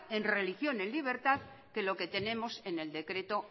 en religión en libertad que lo que tenemos en el decreto